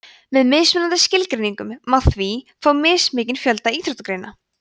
með mismunandi skilgreiningum má því fá mismikinn fjölda íþróttagreina